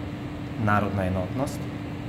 Narodna enotnost?